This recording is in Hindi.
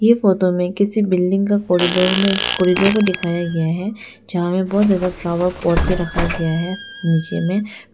फोटो में किसी बिल्डिंग का कॉरिडोर में कॉरिडोर को दिखाया गया है यहां में बहुत ज्यादा फ्लावर पॉट भी रखा गया है नीचे में फिर--